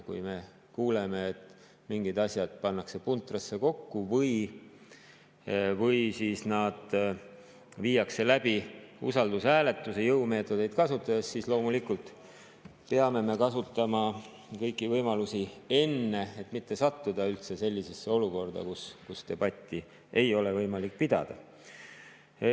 Kui me kuuleme, et mingid asjad pannakse puntrasse kokku või siis viiakse nad läbi usaldushääletuse jõumeetodeid kasutades, siis loomulikult peame me kasutama enne seda kõiki võimalusi, et mitte üldse sattuda sellisesse olukorda, kus debatti ei ole võimalik pidada.